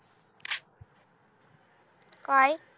काय